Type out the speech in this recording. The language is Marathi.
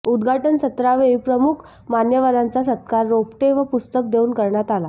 उदघाटन सत्रावेळी प्रमुख मान्यवरांचा सत्कार रोपटे व पुस्तक देऊन करण्यात आला